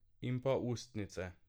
In pa ustnice ...